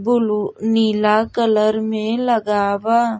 Blue blue नीला colour में लगा बा।